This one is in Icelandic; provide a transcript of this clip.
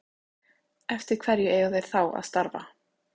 Eftir hverju eiga þeir þá að starfa?